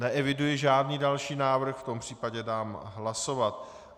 Neeviduji žádný další návrh, v tom případě dám hlasovat.